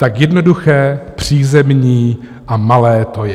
Tak jednoduché, přízemní a malé to je.